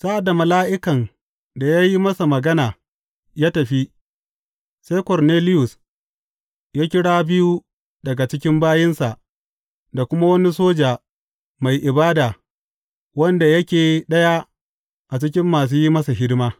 Sa’ad da mala’ikan da ya yi masa magana ya tafi, sai Korneliyus ya kira biyu daga cikin bayinsa da kuma wani soja mai ibada wanda yake ɗaya a cikin masu yin masa hidima.